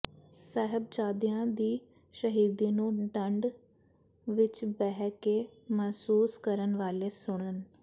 ਸਾਹਿਬਜ਼ਾਦਿਆਂ ਦੀ ਸ਼ਹੀਦੀ ਨੂੰ ਠੰਡ ਵਿੱਚ ਬਹਿ ਕੇ ਮਹਿਸੂਸ ਕਰਨ ਵਾਲੇ ਸੁਣਨ